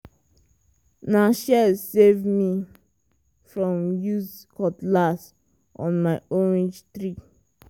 na shears save me from use cutlass on my orange tree.